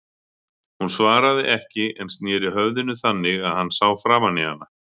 Hún svaraði ekki en sneri höfðinu þannig að hann sá framan í hana.